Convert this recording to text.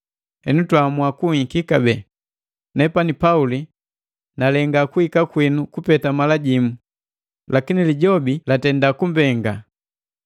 Henu twaamua kunhiki kabee. Nepani Pauli nalenga kuhika kwinu kupeta mala jimu, lakini Lijobi latenda kunipenga.